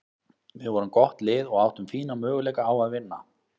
Við vorum gott lið og áttum fína möguleika á að vinna.